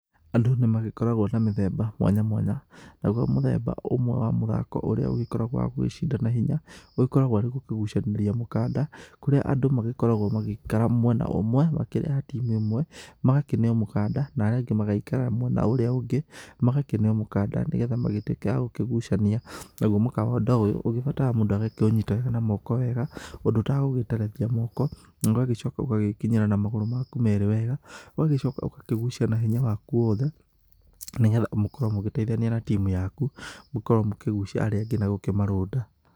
Andũ nĩ magĩkoragwo na mĩthemba mwanya mwanya, naguo mũthemba ũmwe wa mũthako ũrĩa ũgĩkoragwo wa gũgĩcindana hinya, ũgĩkoragwo arĩ gũkĩgucanĩria mũkanda, kũrĩa andũ magĩkoragwo magĩikara mwena ũmwe makĩrĩ a timũ ĩmwe magakĩneo mũkanda, na arĩa angĩ magaikara mwena ũrĩa ũngĩ, magakĩneo mũkanda nĩgetha magĩtuĩke a gũkĩgucania, naguo mũkanda ũyũ ũgĩbataraga mũndũ agakĩũnyita wega na moko wega, ũndũ ũtagũgĩterethia moko, na ũgagĩcoka ũgagĩkinyĩra na magũrũ maku merĩ wega, ũgagĩcoka ũgakĩgucia na hinya waku wothe, nĩgetha mũkorwo mũgĩteithania na timu yaku, mũkorwo mũgĩkĩgucia arĩa angĩ na gũkĩmarũnda.